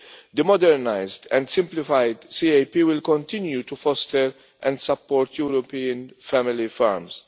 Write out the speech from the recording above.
The modernised and simplified CAP will continue to foster and support European family